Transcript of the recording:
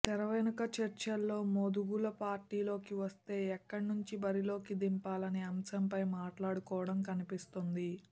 తెరవెనుక చర్చల్లో మోదుగుల పార్టీలోకి వస్తే ఎక్కడి నుంచి బరిలోకి దింపాలనే అంశంపై మాట్లాడుకోవడం కనిపిస్తోంది